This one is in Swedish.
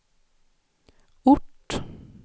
ort